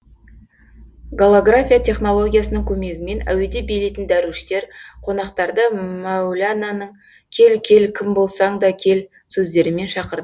голография технологиясының көмегімен әуеде билейтін дәруіштер қонақтарды мәулананың кел кел кім болсаң да кел сөздерімен шақыр